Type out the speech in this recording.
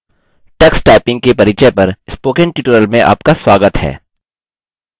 tux typing Tux typing के परिचय पर स्पोकन ट्यूटोरियल में आपका स्वागत है